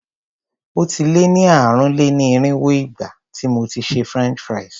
Ó ti lé ní ààrùn-lé-ní-irínwó ìgbà tí mo ti ṣe French fries.